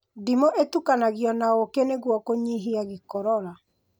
Ndimũ ĩtukanagio na ũkĩ nĩguo kũnyihia gĩkorora